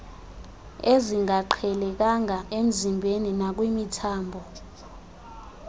ezingaqhelekanga emzimbeni nakwimithambo